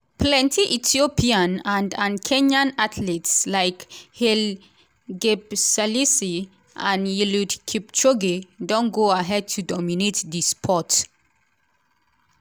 plenty ethiopian and and kenyan athletes like haile gebrselassie and eliud kipchoge don go ahead to dominate di sport.